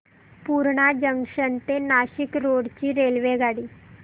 Purna junction ते Nashik road ची रेल्वेगाडी